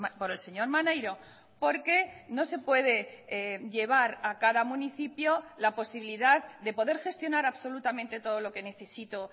por el señor maneiro porque no se puede llevar a cada municipio la posibilidad de poder gestionar absolutamente todo lo que necesito